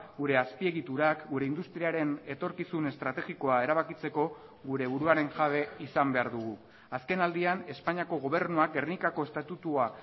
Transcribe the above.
gure azpiegiturak gure industriaren etorkizun estrategikoa erabakitzeko gure buruaren jabe izan behar dugu azkenaldian espainiako gobernuak gernikako estatutua